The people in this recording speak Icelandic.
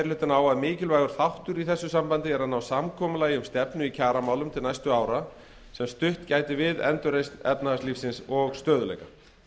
hlutinn á að mikilvægur þáttur í þessu sambandi er að ná samkomulagi um stefnu í kjaramálum til næstu ára sem stutt gæti við endurreisn efnahagslífsins og stöðugleika